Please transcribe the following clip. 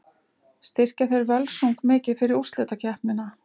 Styrkja þeir Völsung mikið fyrir úrslitakeppnina?